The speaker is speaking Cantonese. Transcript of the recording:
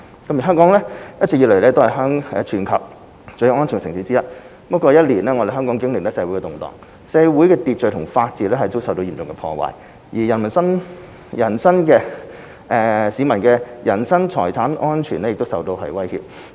三香港長期以來是全球最安全的城市之一，過去一年多，香港經歷社會動盪，社會秩序和法治遭到嚴重破壞，而市民人身和財產安全亦受到威脅。